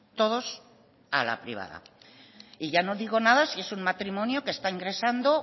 todos a la privada y ya no digo nada si es un matrimonio que está ingresando